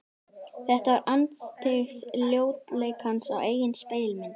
Þetta var andstyggð ljótleikans á eigin spegilmynd.